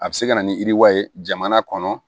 A bɛ se ka na ni yiriwa ye jamana kɔnɔ